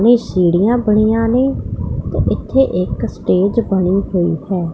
ਇਹ ਸੀੜੀਆਂ ਬਣੀਆਂ ਨੇ ਤੇ ਇੱਥੇ ਇਕ ਸਟੇਜ ਬਣੀ ਹੋਈ ਹੈ।